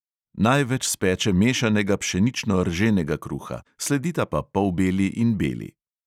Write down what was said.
Največ speče mešanega pšenično-rženega kruha, sledita pa polbeli in beli.